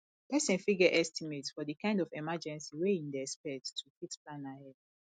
person fit get estimate for di kind of emergency wey im dey expect to fit plan ahead